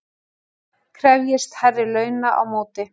Krefjist hærri launa á móti